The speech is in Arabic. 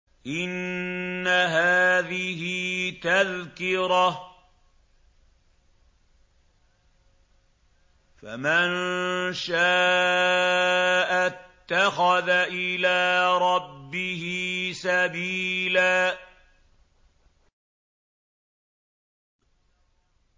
إِنَّ هَٰذِهِ تَذْكِرَةٌ ۖ فَمَن شَاءَ اتَّخَذَ إِلَىٰ رَبِّهِ سَبِيلًا